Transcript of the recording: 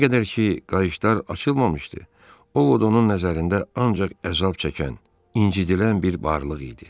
Nə qədər ki, qayışlar açılmamışdı, Ovod onun nəzərində ancaq əzab çəkən, incədilən bir varlıq idi.